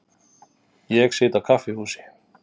Ég sit á kaffihúsi.